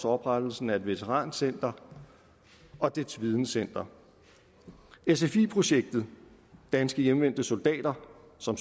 oprettelsen af et veterancenter og dets videncenter sfi projektet danske hjemvendte soldater som